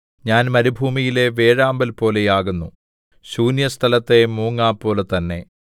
ഞാൻ മരുഭൂമിയിലെ വേഴാമ്പൽ പോലെ ആകുന്നു ശൂന്യസ്ഥലത്തെ മൂങ്ങാപോലെ തന്നെ